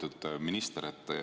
Lugupeetud minister!